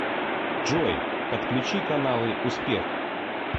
джой подключи каналы успех